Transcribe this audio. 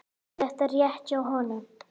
Er þetta rétt hjá honum?